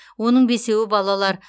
оның бесеуі балалар